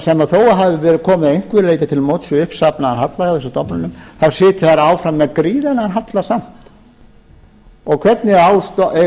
sem þó hefur verið komið að einhverju leyti til móts við uppsafnaðan halla hjá þessum stofnunum þá sitja þær áfram með gríðarlegan halla samt hvernig eiga